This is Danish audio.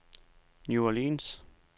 New Orleans